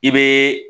I bɛ